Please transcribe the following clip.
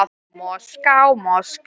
Hugsar um hróin sín.